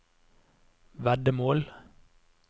veddemål